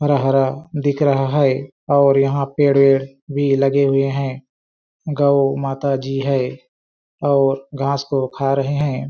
हरा-हरा दिख रहा है और यहाँ पेड़-वेड भी लगे हुए है गौ माता जी है और घास को खा रहे है।